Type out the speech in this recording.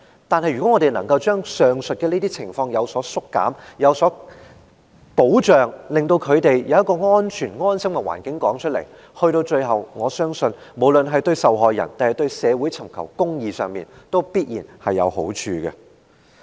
但是，如果我們能夠減少上述情況和為受害人提供保障，令他們在安全和安心的環境中說出經歷，那麼，到最後，我相信無論對受害人或對社會尋求公義，都必然有好處。